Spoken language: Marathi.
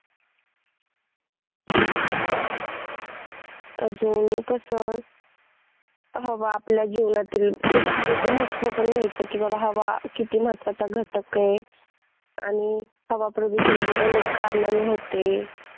अजून कस हवा आपल्या जीवनातील ते तर हवेच महत्त्व तर माहितच आहे बर हवा किती महत्वाचा घटक आहे आणि हवा प्रदूषण हे अमुक कारणांनी होते.